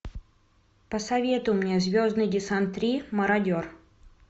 посоветуй мне звездный десант три мародер